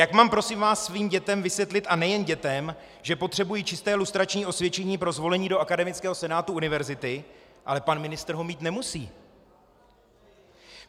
Jak mám, prosím vás, svým dětem vysvětlit, a nejen dětem, že potřebují čisté lustrační osvědčení pro zvolení do akademického senátu univerzity, ale pan ministr ho mít nemusí?